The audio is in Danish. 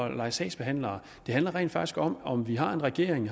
at lege sagsbehandlere det handler rent faktisk om om vi har en regering